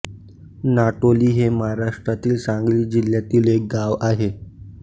नाटोली हे महाराष्ट्रातील सांगली जिल्ह्यातील एक गाव आहे